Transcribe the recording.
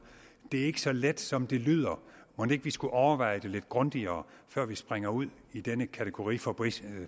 det er ikke så let som det lyder mon ikke vi skulle overveje det lidt grundigere før vi springer ud i denne kategoriforbistring